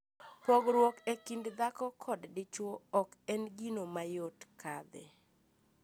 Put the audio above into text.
Pogruok e kind dhako kod dichwo ok en gino mayot kadhe.